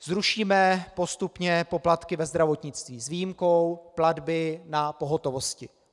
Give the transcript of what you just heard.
Zrušíme postupně poplatky ve zdravotnictví s výjimkou platby na pohotovosti.